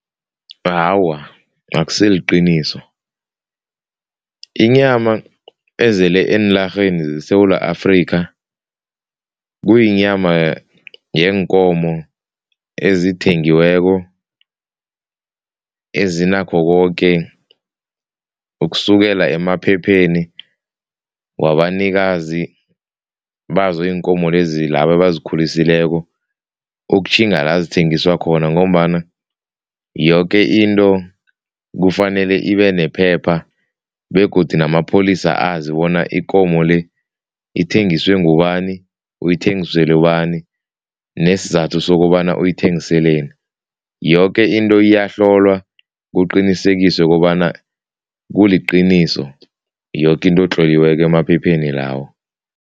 Awa, akusilo iqiniso. Inyama ezele eenlarheni zeSewula Afrika kuyinyama yeenkomo ezithengiweko, ezinakho koke ukusukela emaphepheni wabanikazi bazo iinkomo lezi labo abazikhulisileko, ukutjhinga la zithengiswa khona ngombana yoke into kufanele ibenephepha begodu namapholisa azi bona ikomo le ithengiswe ngubani, uyithengisele ubani nesizathu sokobana uyithengiseleni. Yoke into iyahlolwa kuqinisekiswe, kobana kuliqiniso yoke into etloliweko emaphepheni lawo.